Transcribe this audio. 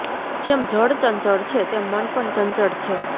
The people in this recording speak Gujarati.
જેમ જળ ચંચળ છે તેમ મન પણ ચંચળ છે